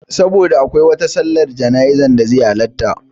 Saboda akwai wata sallar jana'izar da zai halarta